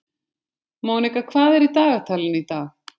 Mónika, hvað er í dagatalinu í dag?